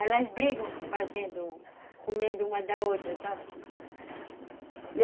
Elas brigam fazendo, comendo uma da outra, sabe?